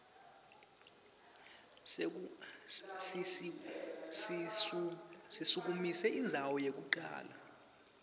sisukumise indzawo yekucala